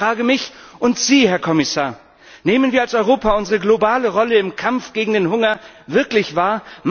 Ich frage mich und Sie, Herr Kommissar Nehmen wir als Europa unsere globale Rolle im Kampf gegen den Hunger wirklich wahr?